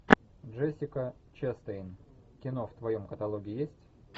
джессика честейн кино в твоем каталоге есть